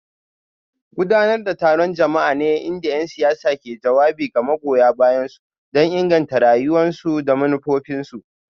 Gudanar da taron jama'a ne inda 'yan siyasa ke jawabi ga magoya bayansu don inganta ra'ayoyinsu da manufofinsu.